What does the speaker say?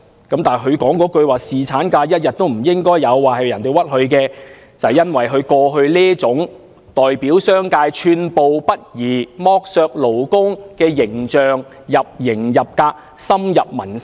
他表示那句"侍產假一天也不應該有"是被人冤枉的，但即使如此，也是由於他過去這種代表商界寸步不離，剝削勞工的形象已入型入格，深入民心。